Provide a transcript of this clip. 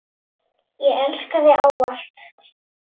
Ég elska þig ávallt.